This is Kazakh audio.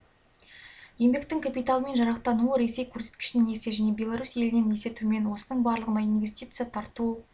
еңбектің капиталымен жарақтануы ресей көрсеткішінен есе және беларусь елінен есе төмен осының барлығына инвестиция тарту